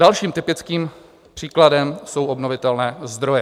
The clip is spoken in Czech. Dalším typickým příkladem jsou obnovitelné zdroje.